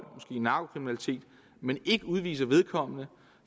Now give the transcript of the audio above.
måske narkokriminalitet men ikke udviser vedkommende